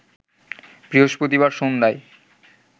বৃহস্পতিবার সন্ধ্যায়